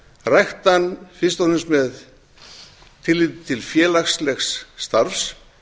rækta hann fyrst og fremst með tilliti til félagslegs starfs